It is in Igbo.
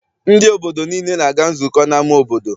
Ndị obodo niile na-aga nzukọ n'ama obodo.